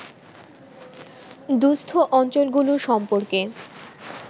দুঃস্থ অঞ্চলগুলো সম্পর্কে